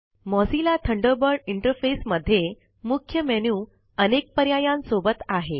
Mozilla Thunderbird interface मध्ये मुख्य menu अनेक पर्यायांन सोबत आहे